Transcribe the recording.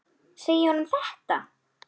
Segja honum þetta?